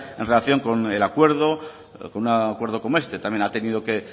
en relación con el acuerdo con un acuerdo como este también ha tenido que